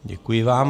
Děkuji vám.